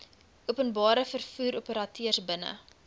openbare vervoeroperateurs binne